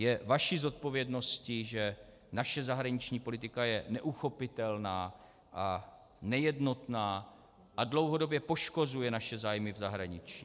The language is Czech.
Je vaší zodpovědností, že naše zahraniční politika je neuchopitelná a nejednotná a dlouhodobě poškozuje naše zájmy v zahraničí.